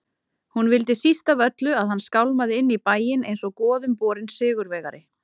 Hún vildi síst af öllu að hann skálmaði inn í bæinn einsog goðumborinn sigurvegari.